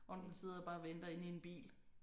Og den sidder bare og venter inde i en bil